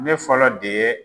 Ne fɔlɔ de ye